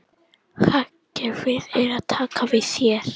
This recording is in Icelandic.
Hagkerfið er að taka við sér